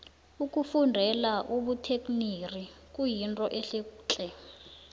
ukufundela ubutekniri kuyinto ehle tle